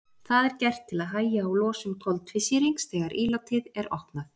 það er gert til að hægja á losun koltvísýrings þegar ílátið er opnað